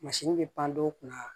bɛ pan dɔw kunna